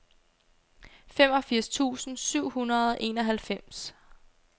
femogfirs tusind syv hundrede og enoghalvfems